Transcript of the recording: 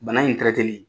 Bana in